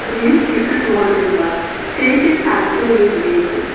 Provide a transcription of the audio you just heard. менің сүйікті слоганым бар фейк ит антил ю мейк ит